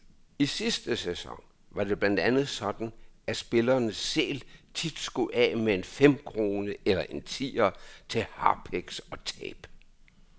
I sidste sæson var det blandt andet sådan, at spillerne selv tit skulle af med en femkrone eller en tier til harpiks og tape.